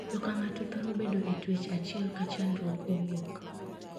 Jo kang'ato thoro bedo e twech achiel ka chandruok owuok.